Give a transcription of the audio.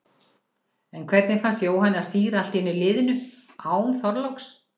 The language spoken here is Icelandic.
En hvernig fannst Jóhanni að stýra allt í einu liðinu, án Þorláks?